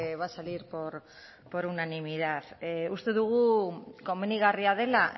va a salir por unanimidad uste dugu komenigarria dela